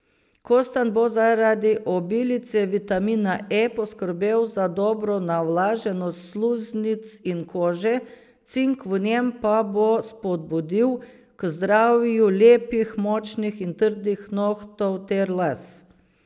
Kostanj bo zaradi obilice vitamina E poskrbel za dobro navlaženost sluznic in kože, cink v njem pa bo spodbudil k zdravju lepih, močnih in trdnih nohtov ter las.